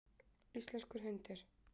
Íslenskur hundur.